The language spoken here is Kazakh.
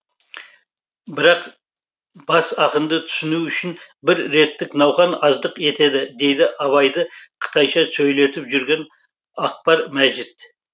бірақ бас ақынды түсіну үшін бір реттік науқан аздық етеді дейді абайды қытайша сөйлетіп жүрген ақбар мәжит